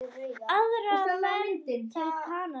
Aðra ferð til Kanarí?